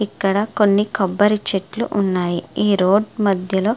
ఇక్కడ కొన్ని కొబ్బరి చెట్లు ఉన్నాయి ఈ రోడ్ మధ్యలో --